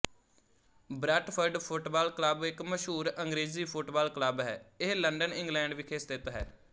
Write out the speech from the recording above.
Brentford football club ਇੱਕ ਮਸ਼ਹੂਰ ਅੰਗਰੇਜ਼ੀ ਫੁੱਟਬਾਲ ਕਲੱਬ ਹੈ ਇਹ ਲੰਡਨ ਇੰਗਲੈਂਡ ਵਿਖੇ ਸਥਿਤ ਹੈ